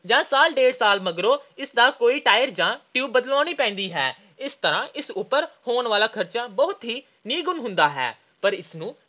ਜਾਂ ਸਾਲ – ਡੇਢ ਸਾਲ ਮਗਰੋਂ ਇਸ ਦਾ ਕੋਈ tire ਜਾਂ tube ਬਦਲਾਉਣੀ ਪੈਂਦੀ ਹੈ। ਇਸ ਤਰ੍ਹਾਂ ਇਸ ਉੱਪਰ ਹੋਣ ਵਾਲਾ ਖਰਚ ਬਹੁਤ ਹੀ ਨਿਗੁਣਾ ਜਿਹਾ ਹੁੰਦਾ ਹੈ, ਪਰ ਇਸ ਨੂੰ